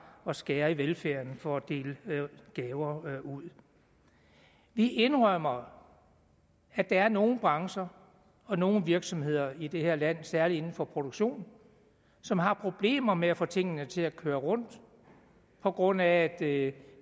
at skære i velfærden for at dele gaver ud vi indrømmer at der er nogle brancher og nogle virksomheder i det her land særlig inden for produktion som har problemer med at få tingene til at køre rundt på grund af at